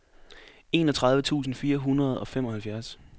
enogtredive tusind fire hundrede og femoghalvfjerds